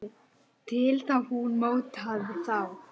Þá mótaði hún þá til.